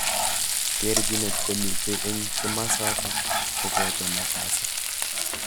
Terjinet komitei eng kimosatak koboto nafasit.